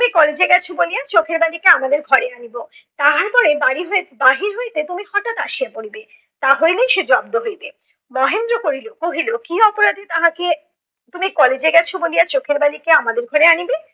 তুমি college এ গেছ বলিয়া চোখের বালিকে আমাদের ঘরে আনিব। তাহার পরে বারি হইতে বাহির হইতে তুমি হঠাৎ আসিয়া পরিবে। তা হইলেই সে জব্দ হইবে। মহেন্দ্র করিল কহিল, কী অপরাধে তাহাকে তুমি college এ গেছ বলিয়া চোখের বালিকে আমাদের ঘরে আনিবে?